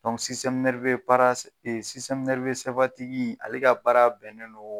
Dɔnku baara ale ka baara bɛnnen don